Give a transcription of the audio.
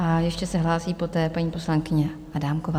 A ještě se hlásí poté paní poslankyně Adámková.